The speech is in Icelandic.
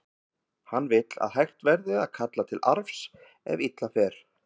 Hann vill að hægt verði að kalla til arfs ef illa fer.